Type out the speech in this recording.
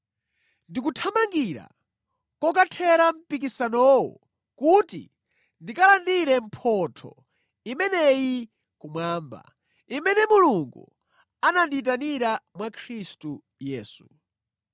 Ndikuthamangira kokathera mpikisanowo kuti ndikalandire mphotho imeneyi kumwamba, imene Mulungu anandiyitanira mwa Khristu Yesu.